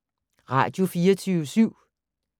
Radio24syv